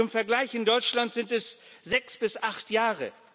Zum Vergleich In Deutschland sind es sechs bis acht Jahre.